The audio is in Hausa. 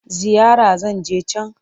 Ziyara zan je can.